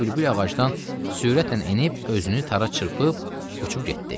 Onda gördüm bülbül ağacdan sürətlə enib özünü tara çırpıb uçub getdi.